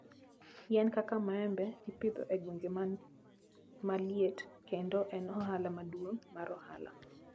Yien kaka maembe ipidho e gwenge ma liet, kendo en ohala maduong' mar ohala.